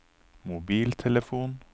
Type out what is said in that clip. mobiltelefon